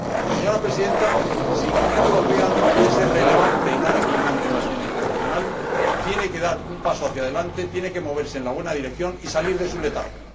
Señora Presidenta, si la Unión Europea quiere ser relevante y no declinante en la escena internacional, tiene que dar un paso hacia delante, tiene que moverse en la buena dirección y salir de su letargo.